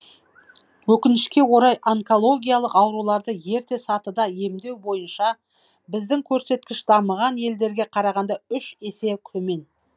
өкінішке орай онкологиялық ауруларды ерте сатыда емдеу бойынша біздің көрсеткіш дамыған елдерге қарағанда үш есе төмен